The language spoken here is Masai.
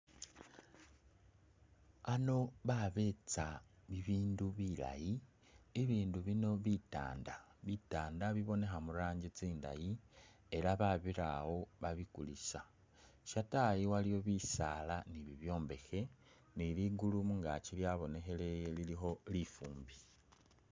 Ano babeetsa bibindu bilaayi, ibindu bino bitanda, bitanda bibonekha mu rangi tsindayi ela babira awo babikulisa. Shatayi waliwo bisaala ni bibyombekhe ni ligulu mungaki lyabonekheleye lilikho lifumbi.